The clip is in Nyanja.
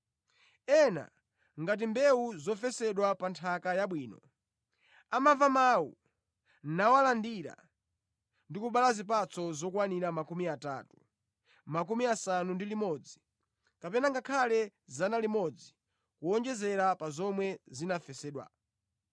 Ena, ngati mbewu zofesedwa pa nthaka yabwino, amamva mawu, nawalandira, ndi kubereka zipatso zokwanira makumi atatu, makumi asanu ndi limodzi, kapena ngakhale 100 kuwonjezera pa zomwe zinafesedwa.”